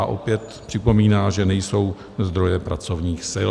A opět připomíná, že nejsou zdroje pracovních sil.